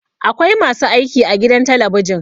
Akwai masu aiki a gidan talabijin